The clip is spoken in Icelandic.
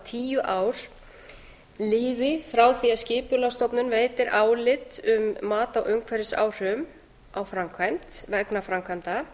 tíu ár líði frá því að skipulagsstofnun veitir álit um mat á umhverfisáhrifum á framkvæmd vegna framkvæmda